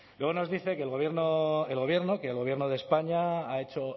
luego nos dice que el gobierno de españa ha hecho